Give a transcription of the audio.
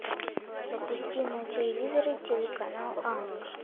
запусти на телевизоре телеканал ани